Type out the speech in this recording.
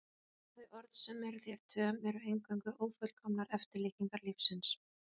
Að þau orð sem eru þér töm eru eingöngu ófullkomnar eftirlíkingar lífsins.